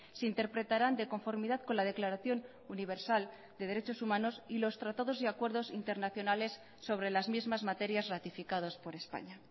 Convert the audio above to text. se interpretarán de conformidad con la declaración universal de derechos humanos y los tratados y acuerdos internacionales sobre las mismas materias ratificados por españa